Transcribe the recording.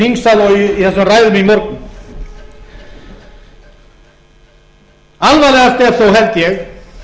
þingsal og í þessum ræðum í morgun alvarlegast er þó held ég